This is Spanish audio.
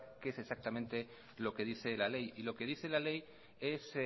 qué es exactamente lo que dice la ley y lo que dice la ley es